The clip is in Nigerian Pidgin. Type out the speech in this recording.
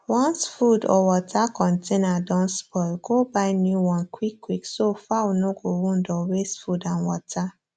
once food or water container don spoil go buy new one quick quick so fowl no go wound or waste food and water